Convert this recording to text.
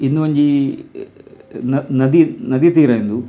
ಇಂದು ಒಂಜಿ ನ ನದಿ ನದಿ ತೀರ ಇಂದು.